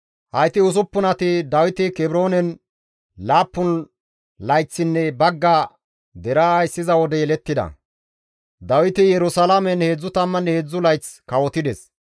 Hayti usuppunati Dawiti Kebroonen laappun layththinne bagga deraa ayssiza wode yelettida; Dawiti Yerusalaamen 33 layth kawotides.